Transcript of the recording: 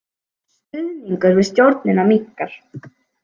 Stuðningur við stjórnina minnkar